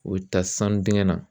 O bɛ taa sanu dingɛ na